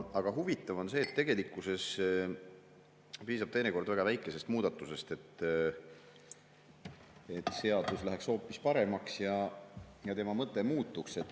Aga huvitav on see, et tegelikkuses piisab teinekord väga väikesest muudatusest, et seadus läheks hoopis paremaks ja tema mõte muutuks.